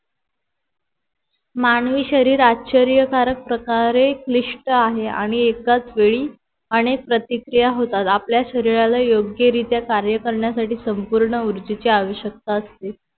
मानवी शरीर आश्चर्यकारक प्रकारे निष्ट आहे आणि एकाच वेळी अनेक प्रतीक्रिया होतात आपल्या शरीराला योग्यरित्या कार्य करण्यासाठी संपूर्ण ऊर्जाची आवश्यकता असते